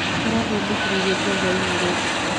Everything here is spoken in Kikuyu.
Arathondekire irio cia hwainĩ ira ũtukũ.